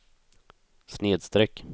snedsträck